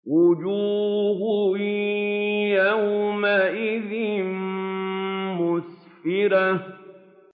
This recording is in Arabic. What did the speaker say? وُجُوهٌ يَوْمَئِذٍ مُّسْفِرَةٌ